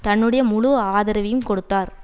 தன்னுடைய முழு ஆதரவையும் கொடுத்தார்